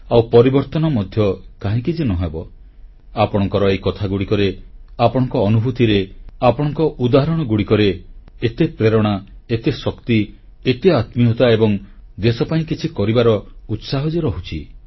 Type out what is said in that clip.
ଆଉ ପରିବର୍ତ୍ତନ ମଧ୍ୟ କାହିଁକି ଯେ ନ ହେବ ଆପଣଙ୍କର ଏହି କଥାଗୁଡ଼ିକରେ ଆପଣଙ୍କ ଅନୁଭୂତିରେ ଆପଣଙ୍କ ଉଦାହରଣଗୁଡ଼ିକରେ ଏତେ ପ୍ରେରଣା ଏତେ ଶକ୍ତି ଏତେ ଆତ୍ମୀୟତା ଏବଂ ଦେଶ ପାଇଁ କିଛି କରିବାର ଉତ୍ସାହ ଯେ ରହୁଛି